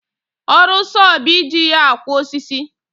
Ọrụ sọọ bụ iji ya akwọ osisi